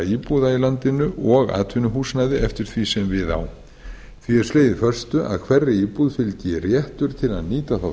fjölda íbúða í landinu og atvinnuhúsnæði eftir því sem við á því er slegið föstu að hverri íbúð fylgi réttur til að nýta þá